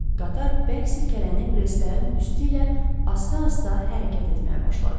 Qatar bərk silkələnib relslərin üstü ilə asta-asta hərəkət etməyə başladı.